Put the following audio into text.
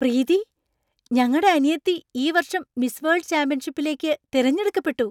പ്രീതി! ഞങ്ങടെ അനിയത്തി ഈ വർഷം മിസ് വേൾഡ് ചാമ്പ്യൻഷിപ്പിലേക്ക് തിരഞ്ഞെടുക്കപ്പെട്ടു!